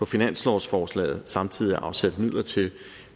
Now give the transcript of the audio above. finanslovsforslaget samtidig er afsat midler til